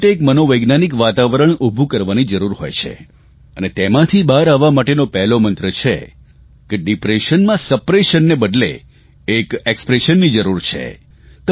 એના માટે એક મનોવૈજ્ઞાનિક વાતાવરણ ઉભું કરવાની જરૂર હોય છે અને તેમાંથી બહાર આવવા માટેનો પહેલો મંત્ર છે કે ડિપ્રેશનના સપ્રેશનને બદલે તેના એકસપ્રેશનની જરૂર છે